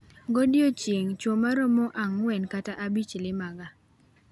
Go diechieng' chuwo maromo ang'wen kata abich lima ga.